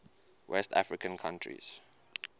west african countries